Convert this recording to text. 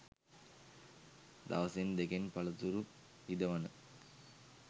දවසෙන් දෙකෙන් පලතුරු ඉදවන